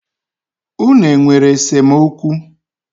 Unu e nwere esemokwu?